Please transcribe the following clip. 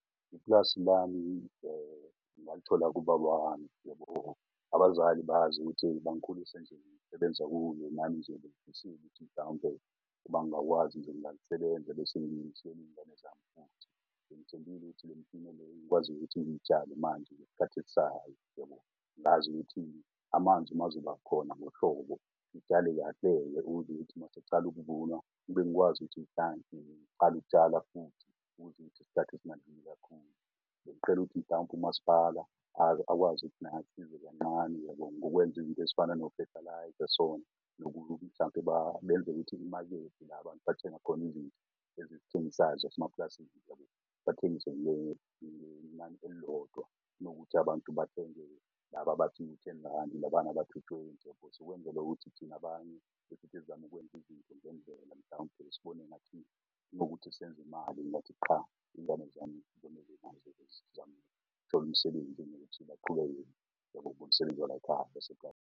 Iplasi lami ngalithola kubaba wami, yabo. Abazali bazi ukuthi bangikhulisa nje . Nami ngizobe mhlawumpe bangakwazi nje ngingalisebenza . Ngikwazi ukuthi ngitshale manje , uyabo? Ngazi ukuthi amanzi bayezoba khona ngohlobo. Ngitshale ukithi masekucala ukuvunwa, ngikwazi ukuthi ngiqala ukutshala futhi ukuthi ngithi kakhulu. Ngiqela ukuthi mhlawumpe umasipala akwazi ukuthi naye asize kanqane, yabo? Ngokwenza izinto ezifana nofethelayiza sona . Mhlawumpe benze ukuthi imakede la bantu bathenga khona izinto ezithengisayo zasemaplazini. Bathengise ngenani elilodwa nokuthi abantu bathenge laba abathi u-ten randi labana bathi u-twenty. Ukuthi thina banye ukwenza izinto zenzeke. Mhlawumpe sibone nathi . Nokuthi senze imali sithole umsebenzi baqhubeke umsebenzi walay'khaya .